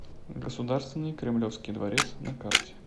государственный кремлевский дворец на карте